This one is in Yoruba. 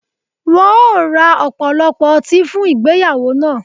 Wọn ó ra ọ̀pọ̀lọpọ̀ ọti fun igbeyawo na